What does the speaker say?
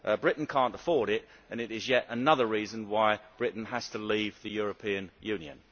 Britain cannot afford this and it is yet another reason why Britain has to leave the European Union.